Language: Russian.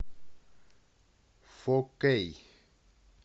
фо кей